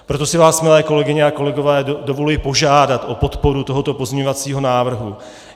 Proto si vás, milé kolegyně a kolegové, dovoluji požádat o podporu tohoto pozměňovacího návrhu.